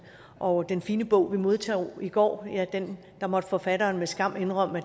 og den fine bog vi modtog i går måtte forfatteren med skam indrømme